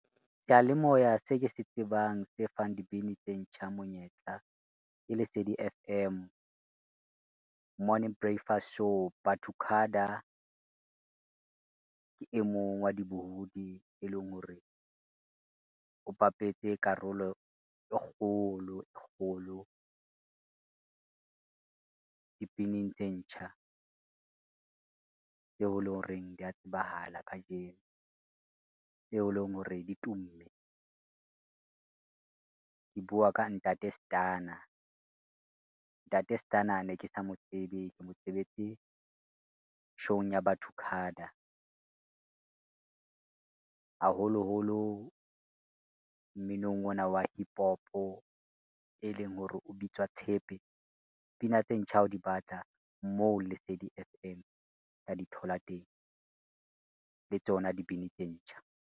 Sealemoya se ke se tsebang, se fang dibini tse ntjha monyetla ke Lesedi F_M, morning breakfast show. Ba2cada, ke emong wa dibohodi e leng hore o bapetse karolo e kgolo, e kgolo dibineng tse ntjha tseo e leng horeng dia tsebahala kajeno, tseo e leng hore di tumme. Ke bua ka Ntate Stunna, Ntate Stunna ne ke sa mo tsebe ke motsebetse show-ung ya Ba2cada, haholoholo mminong ona wa hippopo e leng hore o bitswa tshepe. Pina tse ntjha ha o di batla moo, Lesedi F_M tla di thola teng le tsona dibini tse ntjha.